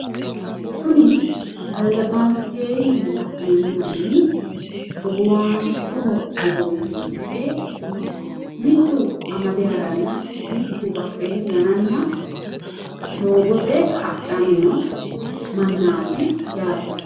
Kuni albbankeenni la'neemmo manni hogowaanchoho hogowisiisidhe mittu amade haranna mittu badheenni ganana doogote hadhanni noo mannaati yaate.